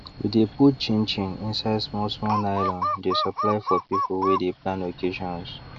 we de put chin chin inside small small nylon dey supply for people wey de plan occasions